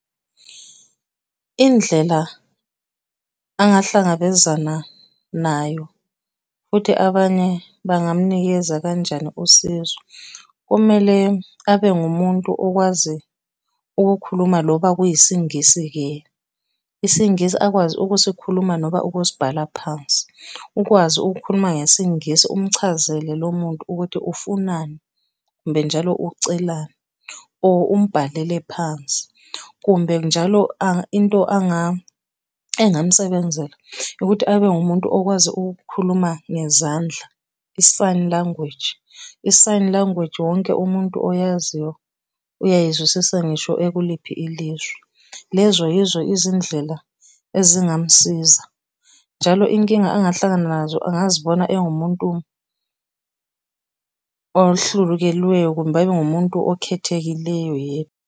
Indlela angahlangabezana nayo, futhi abanye bangamunikeza kanjani usizo, kumele abe ngumuntu okwazi ukukhuluma lokhu okuyisiNgisi-ke. IsiNgisi akwazi ukusikhuluma noba ukusibhala phansi. Ukwazi ukukhuluma ngesiNgisi umchazele lo muntu ukuthi ufunani, kumbe njalo ucelani or umbhalele phansi. Kumbe njalo into engamusebenzela ukuthi abe ngumuntu okwazi ukukhuluma ngezandla, i-sign language. I-sign language wonke umuntu oyaziyo uyayizwisisa ngisho ekuliphi ilizwe. Lezo yizo izindlela ezingamusiza, njalo inkinga angahlangana nazo angazibona engumuntu kumbe abe ngumuntu okhethekileyo yebo.